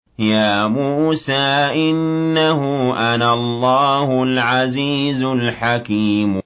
يَا مُوسَىٰ إِنَّهُ أَنَا اللَّهُ الْعَزِيزُ الْحَكِيمُ